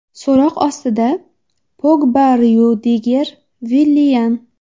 So‘roq ostida: Pogba Ryudiger, Villian.